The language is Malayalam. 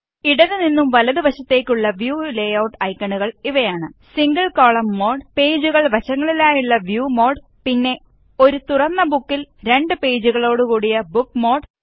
ഇടതു നിന്നും വലതു വശത്തേക്കുള്ള വ്യൂ ലേ ഔട്ട് ഐക്കണുകള് ഇവയാണ് സിംഗിള് കോളം മോഡ് പേജുകള് വശങ്ങളിലായുള്ള വ്യൂ മോഡ് ആന്ഡ് പിന്നെ ഒരു തുറന്ന ബുക്കില് രണ്ട് പേജുകളോട് കൂടിയ ബുക്ക് മോഡ്